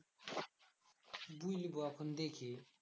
বুইলবো এখন দেখি